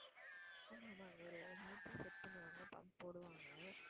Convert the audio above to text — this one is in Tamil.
motor set பண்ணுவாங்க pump போடுவாங்க.